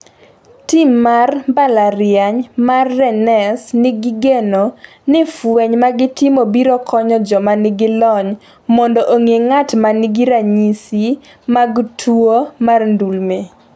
tim mar mbalariany mar Rennes nigi geno ni fweny magitimo biro konyo joma nigi lony mondo ong’e ng’at ma nigi ranyisi mag tuwo mar ndulme